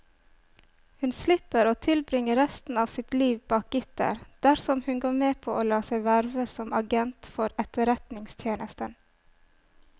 Hun slipper å tilbringe resten av sitt liv bak gitter dersom hun går med på å la seg verve som agent for etterretningstjenesten.